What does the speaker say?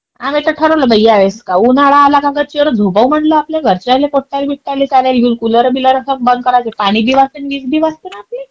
आम्ही तर ठरवलं बाई या वेळेस का उन्हाळा आला की गच्चीवरच झोपाव म्हटलं. आपल्या घरच्याले, पोट्याबिट्याले सग्ल्याले घेऊन कारण कुलर बीलर बंद करून पाणी आन वीज बी वाचते ना आपली.